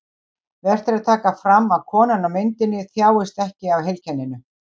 Vert er að taka fram að konan á myndinni þjáist ekki af heilkenninu.